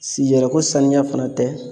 Sigi yɛrɛ ko saniya fana tɛ